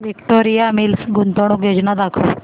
Victoria Mills गुंतवणूक योजना दाखव